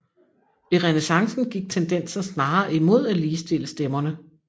I renæssancen gik tendensen snarere imod at ligestille stemmerne